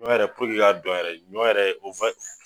Ɲɔ yɛrɛ puruke i k'a don yɛrɛ , ɲɔ yɛrɛ o